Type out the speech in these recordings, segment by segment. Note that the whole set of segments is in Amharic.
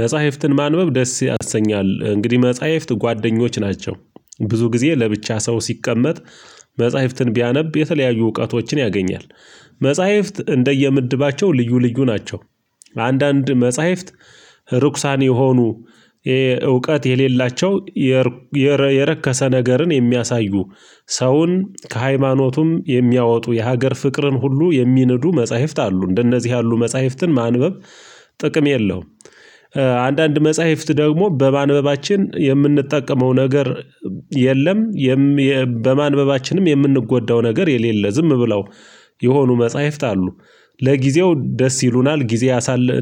መጻሂፍትን ማንበብ ደስ ያሰኛል እንግዲህ መጻሂፍት ጓደኞች ናቸው ብዙ ጊዜ ለብቻ ሰው ሲቀመጥ መጽሂፍትን ቢያነብ የተለያዩ እውቀቶችን ያገኛል። መጽሂፍት እንደየምድባቸው ልዩ ልዩ ናቸው። አንዳንድ መጽሂፍት እርኩሳን የሆኑ እውቀት የሌላቸው የረከሰ ነገርን የሚያሳዩ ሰውን ከሃይማኖቱም የሚያወጡ የሀገር ፍቅርን ሁሉ የሚንዱ መጽሐፍት አሉ እንደነዚህ ያሉ መጽሐፍትን ማንበብ ጥቅም የለውም። አንዳንድ መጽሂፍት ደግሞ በማንበባችን የምንጠቀመው ነገር የለም። በማንበባችንም የምንጎዳው ነገር የሌለ ዝም ብለው የሆኑ መጽሂፍት አሉ። ለጊዜው ደስ ይሉናል ጊዜ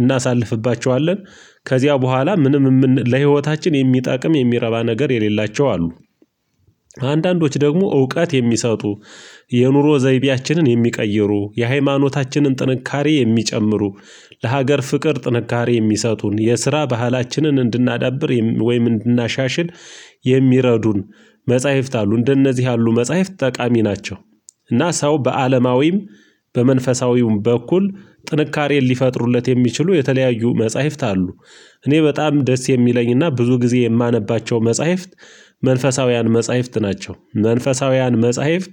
እናሳልፍባቸዋለን ከዚያ በኋላ ምንም ለህይወታችን የሚጠቅም የሚረባ ነገር የሌላቸው አሉ። አንዳንዶች ደግሞ እውቀት የሚሰጡ የኑሮ ዘይቤያችንን የሚቀይሩ የሃይማኖታችንን ጥንካሬ የሚጨምሩ ለሀገር ፍቅር ጥንካሬ የሚሰጡን የስራ ባህላችንን እንድናዳብር ወይም እንድናሻሽል የሚረዱን መጽሂፍት አሉ እንደነዚህ ያሉ መጽሂፍት ጠቃሚ ናቸው። እና ሰው በአለማዊም በመንፈሳዊም በኩል ጥንካሬን ሊፈጥሩለት የሚችሉ የተለያዩ መጽሂፍት አሉ። እኔ በጣም ደስ የሚለኝና ብዙ ጊዜ የማነባቸው መጽሂፍት መንፈሳውያን መጽሂፍት ናቸው። መንፈሳውያን መጽሂፍት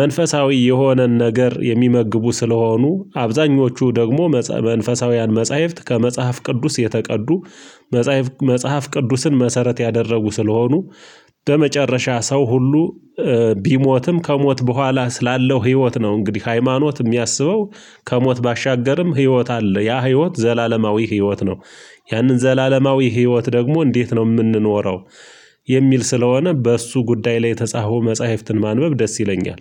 መንፈሳዊ የሆነን ነገር የሚመግቡ ስለሆኑ አብዛኞቹ ደግሞ መንፈሳውያን መጽሂፍት ከመጽሐፍ ቅዱስ የተቀዱ። መጽሐፍ ቅዱስን መሰረት ያደረጉ ስለሆኑ። በመጨረሻ ሰው ሁሉ ቢሞትም ከሞት በኋላ ስላለው ህይወት ነው እንግዲህ ሃይማኖት እሚያስበው። ከሞት ባሻገርም ህይወት አለ ያ ህይወት ዘላለማዊ ህይወት ነው። ያንን ዘላለማዊ ህይወት ደግሞ እንዴት ነው ምንኖረው? የሚል ስለሆነ በእሱ ጉዳይ ላይ የተጻፈው መጽሂፍት ማንበብ ደስ ይለኛል።